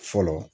Fɔlɔ